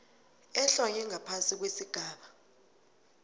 ehlonywe ngaphasi kwesigaba